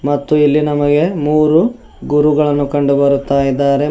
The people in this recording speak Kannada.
ಮತ್ತು ಇಲ್ಲಿ ನಮಗೆ ಮೂರು ಗುರುಗಳನ್ನು ಕಂಡುಬರುತ್ತಾ ಇದ್ದಾರೆ.